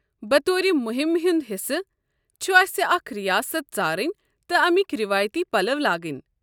بطور مہمہِ ہٕنٛدِ حصہِ، چھُ اسہِ اکہِ ریاست ژارٕنۍ تہٕ امِکۍ رٮ۪وٲیتی پلو لاگٕنۍ۔